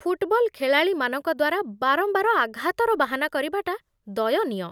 Football ଖେଳାଳିମାନଙ୍କ ଦ୍ୱାରା ବାରମ୍ବାର ଆଘାତର ବାହାନା କରିବାଟା ଦୟନୀୟ।